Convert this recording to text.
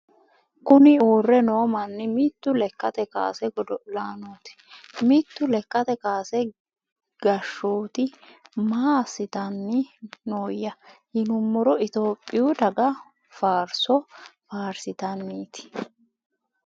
Kur uurre noo manni mitu lekkate kaase godo'laanooti mitu lekkate kaase gashshooti. ma assitanni nooyya yinummoro itiyophiyu daga faarso faarsitannit.